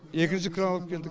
екінші кран алып келдік